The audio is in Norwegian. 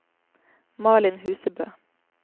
Malin Husebø